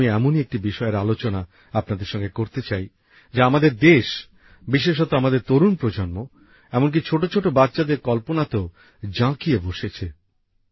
আজ আমি এমনই একটি বিষয়ের আলোচনা আপনাদের সঙ্গে করতে চাই যা আমাদের দেশ বিশেষত আমাদের তরুণ প্রজন্ম এমনকি ছোট ছোট বাচ্চাদের কল্পনাতেও জাঁকিয়ে বসেছে